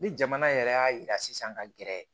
Ni jamana yɛrɛ y'a yira sisan ka gɛrɛ